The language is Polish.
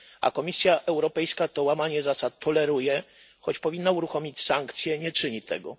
A Komisja Europejska to łamanie zasad toleruje choć powinna uruchomić sankcje, nie czyni tego.